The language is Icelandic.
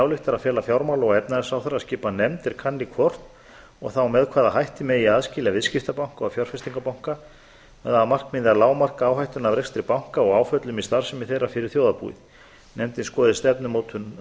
ályktar að fela fjármála og efnahagsráðherra að skipa nefnd er kanni hvort og þá með hvaða hætti megi aðskilja viðskiptabanka og fjárfestingarbanka með það að markmiði að lágmarka áhættuna af rekstri banka og áföllum í starfsemi þeirra fyrir þjóðarbúið nefndin skoði stefnumótun